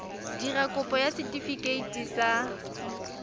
dira kopo ya setefikeiti sa